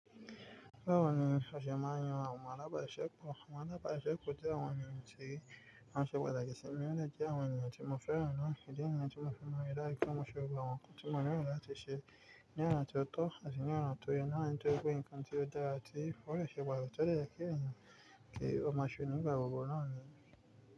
Báwo ni aṣe máa ń yàn àwọn alábàṣiṣẹ́pọ̀? Àwọn alábàṣiṣẹ́pọ̀ jẹ àwọn ènìyàn tí wọ́n ṣe pàtàkì sí mi, ó dẹ́ jẹ́ àwọn ènìyàn tí mo fẹ́ràn náà, ìdí nìyí tí moṣe máa ń ríi dájú wípé mo ṣe gbogbo àwọn nǹkan tí mo nílò láti ṣe ní ọ̀nà tí ó tọ́ àti ní ọ̀nà tó yẹ náà ni nítorí pé nǹkan tí ó dára tí ó dẹ̀ ṣe pàtàkì tí ó dẹ̀ yẹ kí èèyàn máa ṣe ní ìgbà gbogbo náà ni.